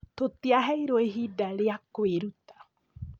Tũtiaheirwo ihinda rĩa kwĩruta